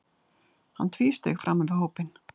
Hann tvísteig framan við hópinn.